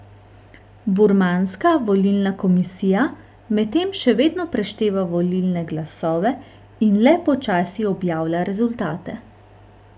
Burmanska volilna komisija medtem še vedno prešteva volilne glasove in le počasi objavlja rezultate.